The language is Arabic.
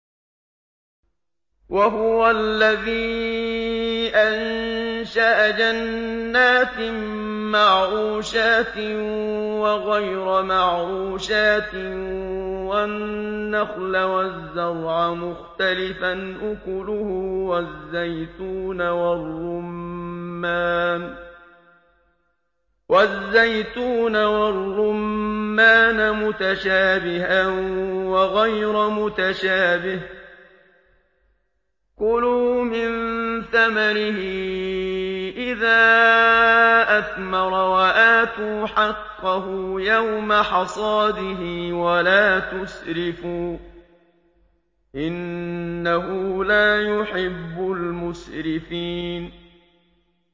۞ وَهُوَ الَّذِي أَنشَأَ جَنَّاتٍ مَّعْرُوشَاتٍ وَغَيْرَ مَعْرُوشَاتٍ وَالنَّخْلَ وَالزَّرْعَ مُخْتَلِفًا أُكُلُهُ وَالزَّيْتُونَ وَالرُّمَّانَ مُتَشَابِهًا وَغَيْرَ مُتَشَابِهٍ ۚ كُلُوا مِن ثَمَرِهِ إِذَا أَثْمَرَ وَآتُوا حَقَّهُ يَوْمَ حَصَادِهِ ۖ وَلَا تُسْرِفُوا ۚ إِنَّهُ لَا يُحِبُّ الْمُسْرِفِينَ